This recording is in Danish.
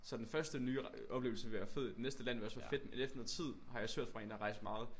Så den første nye oplevelse vil være fed næste land vil også være fedt men efter noget tid har jeg også hørt fra en der har rejst meget